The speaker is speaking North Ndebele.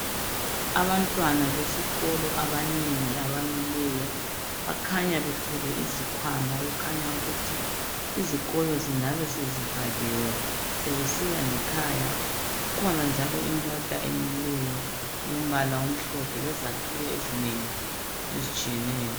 Abantwana besikolo abanengi abamileyo bakhanya bethwele izikhwama. Okukhanya ukuthi izikolo zingabe sezivaliwe .Sebesiya ngekhaya Kukhona njalo imota emileyo elombala omhlophe. Lezakhiwo ezingeni ezitshiyeneyo.